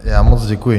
Já moc děkuji.